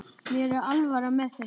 Mér er alvara með þessu.